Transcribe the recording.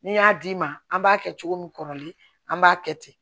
Ni n y'a d'i ma an b'a kɛ cogo min kɔrɔlen an b'a kɛ ten